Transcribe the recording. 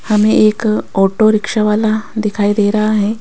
हमें एक auto rickshaw वाला दिखाई दे रहा है।